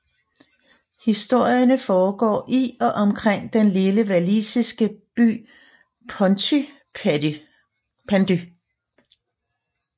Historierne foregår i og omkring den lille walisiske by Pontypandy